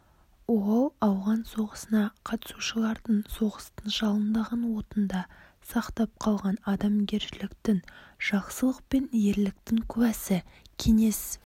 ол ауған соғысына қатысушылардың соғыстың жалындаған отында сақтап қалған адамгершіліктің жақсылық пен ерліктің куәсі кеңес